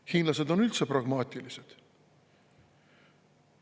Hiinlased on üldse pragmaatilised.